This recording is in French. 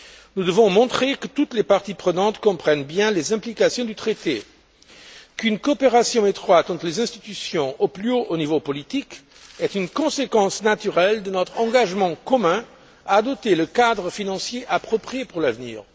Nous devons montrer que toutes les parties prenantes comprennent bien les implications du traité et qu'une coopération étroite entre les institutions au plus haut niveau politique est une conséquence naturelle de notre engagement commun à adopter le cadre financier approprié pour l'avenir.